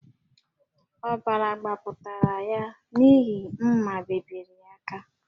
Ọbara gbapụtara ya n’ihi mma bebiri ya aka